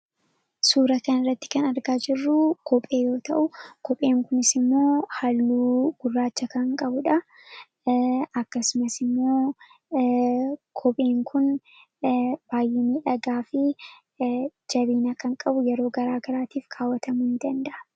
suura kana irratti kan argaa jirruu kophee yoo ta'u kopheen kunis immoo halluu gurraacha kan qabuudha. Akkasumas immoo kopheen kun baay, inii dhagaa fi jabiinaa kan qabu yeroo garaa garaatiif kaawwatamuu in danda,a.